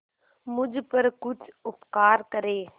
मुझ पर कुछ उपकार करें